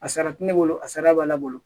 A sara tɛ ne bolo a sara b'ale bolo